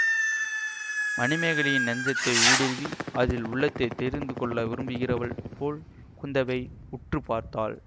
மணிமேகலையின் நெஞ்சத்தை ஊடுருவி அதில் உள்ளதைத் தெரிந்து கொள்ள விரும்புகிறவள் போல் குந்தவை உற்று பார்த்தாள்